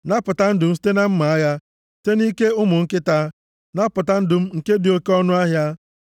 Napụta ndụ m site na mma agha, site nʼike ụmụ nkịta, napụta ndụ m nke dị oke ọnụahịa.